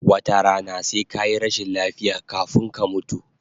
Wata rana sai kayi rashin lafiya kafun ka mutu